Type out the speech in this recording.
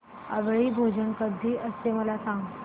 आवळी भोजन कधी असते मला सांग